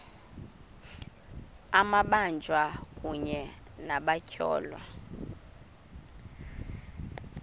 amabanjwa kunye nabatyholwa